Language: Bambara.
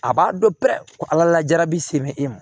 A b'a dɔn pɛrɛ ala la jabɛti se bɛ e ma